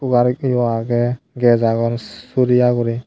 warikkeyo agey ges agon suriya guri.